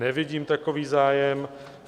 Nevidím takový zájem.